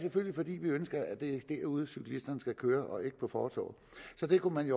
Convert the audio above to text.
vi ønsker at det er derude cyklisterne skal køre og ikke på fortovet så det kunne man